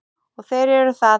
Og þeir eru það.